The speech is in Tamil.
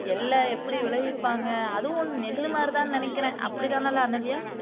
எள்ள எப்படி விளைவிப்பாங்க அதுவும் னெல்லு மாதிரி தான்னு நினைக்கிறேன் அப்படிதானேலே அனன்யா